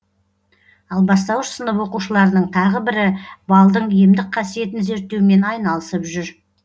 ал бастауыш сынып оқушыларының тағы бірі балдың емдік қасиетін зерттеумен айналысып жүр